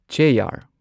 chair